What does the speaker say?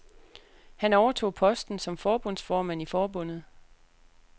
Han overtog posten som forbundsformand i forbundet.